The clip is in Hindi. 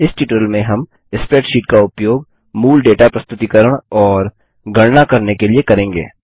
इस ट्यूटोरियल में हम स्प्रैडशीट का उपयोग मूल डेटा प्रस्तुतीकरण और गणना कैल्क्युलैशन्स करने के लिए करेंगे